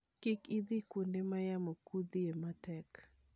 Kik idhi kuonde ma yamo kuthoe matek.